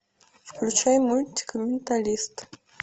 включай мультик менталист